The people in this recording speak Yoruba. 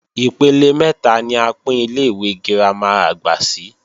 Ipele mẹ́ta ni a pín Ilé-ìwé girama àgbà sí